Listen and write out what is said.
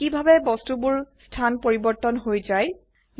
চাওক কিভাবে বস্তুবোৰৰ স্থান পৰিবৰ্তন হৈ যায়